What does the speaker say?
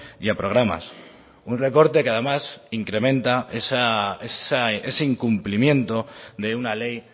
y a programas un recorte que además incrementa ese incumplimiento de una ley